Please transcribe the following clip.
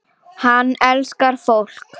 Hann elskar fólk.